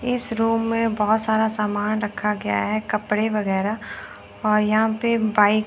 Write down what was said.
इस रूम में बहुत सारा सामान रखा गया है कपड़े वगैरह और यहां पे बाइक --